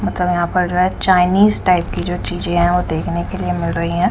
मतलब यहां पर जो है चाइनीज टाइप की जो चीजें हैं वो देखने के लिए मिल रही हैं।